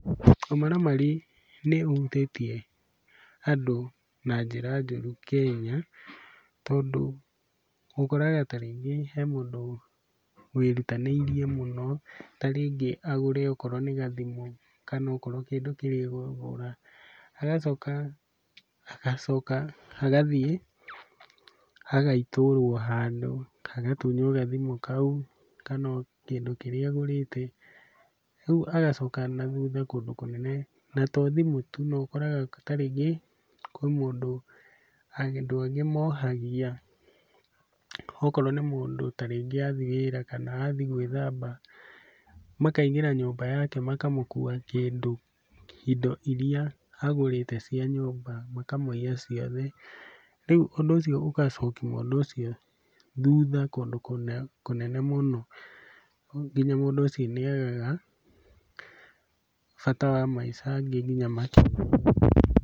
Ũmaramari nĩũhutĩtie andũ na njĩra njũru Kenya tondũ ũkoraga ta rĩngĩ he mũndũ wĩrutanĩirie mũno ta rĩngĩ agũre okorwo nĩ gathimũ kana okorwo kĩndũ kĩrĩa aragũra, agacoka agacoka agathiĩ agaitũrũo handũ, agatunywo gathimũ kau kana o kĩndũ kĩrĩa agũrĩte. Rĩu agacoka na thuha kũndũ kũnene, na to thimũ tu no ũkoraga ta rĩngĩ kwĩ mũndũ andũ angĩ mohagia okorwo nĩ mũndũ ta rĩngĩ athiĩ wĩra kana athiĩ gwĩthamba makaingĩra nyũmba yake makamũkua kĩndũ, indo iria agũrĩte cia nyũmba makamũiya ciothe, Rĩu ũndũ ũcio ũgacokia mũndũ ũcio thutha kũndũ kũnene mũno nginya mũndũ ũcio nĩagaga bata wa maica angĩ kinya makerũraga.